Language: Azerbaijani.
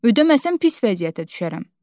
Ödəməsəm pis vəziyyətə düşərəm.